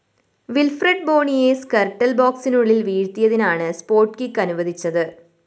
Wilfred ബോണിയെ Skrtel‍ ബോക്‌സിനുള്ളില്‍ വീഴ്ത്തിയതിനാണ് സ്പോട്ട്‌ കിക്ക്‌ അനുവദിച്ചത്